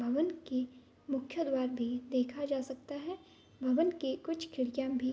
भवन के मुख्यद्वार भी देखा जा सकता है भवन के कुछ खिड़कियां भी --